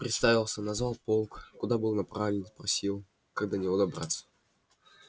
представился назвал полк куда был направлен спросил как до него добраться